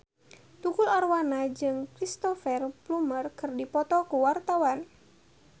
Tukul Arwana jeung Cristhoper Plumer keur dipoto ku wartawan